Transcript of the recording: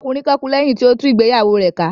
Ọkùnrin kan kú lẹ́yìn tí ó tú ìgbéyàwó rẹ̀ ká